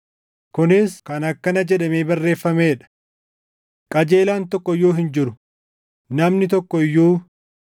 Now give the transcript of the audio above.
Kunis kan akkana jedhamee barreeffamee dha: “Qajeelaan tokko iyyuu hin jiru; namni tokko iyyuu;